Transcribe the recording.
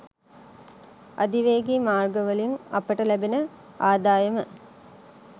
අධිවේගී මාර්ගවලින් අපට ලැබෙන ආදායම